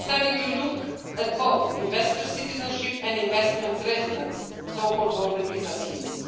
The study will look at both investor citizenship and investments residence, so-called golden visa' schemes.